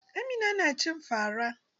Amina na cin fa ra.